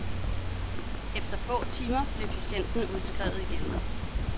Efter få timer blev patienten udskrevet igen.